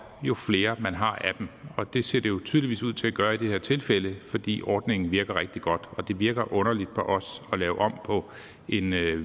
jo flere man har af dem det ser det jo tydeligvis ud til at gøre i det her tilfælde fordi ordningen virker rigtig godt og det virker underligt på os at lave om på en